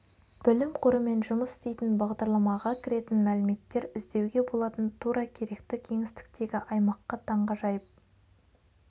білім қорымен жұмыс істейтін бағдарламаға кіретін мәліметтер іздеуге болатын тура керекті кеңістіктегі аймаққа таңғажайып